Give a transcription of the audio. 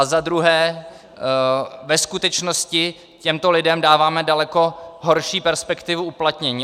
A za druhé - ve skutečnosti těmto lidem dáváme daleko horší perspektivu uplatnění.